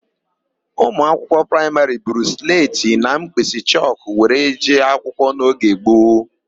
Ụmụakwụkwọ praịmarị buru sletị na mkpịsịchọkụ were jee akwụkwọ n'oge gboo.